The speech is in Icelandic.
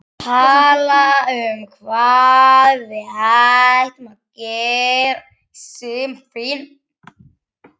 Tala um hvað við ættum að gera í sumarfríinu?